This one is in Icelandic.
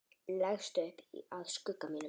Leggst upp að skugga sínum.